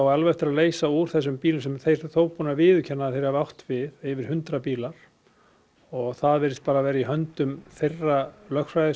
alveg eftir að leysa úr þessum bílum sem þeir eru þó búnir að viðurkenna að þeir hafi átt við yfir hundrað bílar og það virðist bara vera í höndum þeirra lögfræðistofu